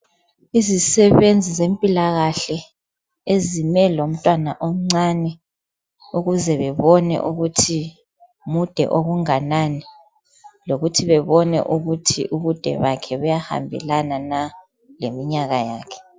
Izisebenzi zempilakahle, ezime lomntwana omncane. Ukuze bebone ukuthi, mude okunganani. Lokuthi bebone ukuthi, ubude bakhe buyahambelana na, leminyaka yakhe,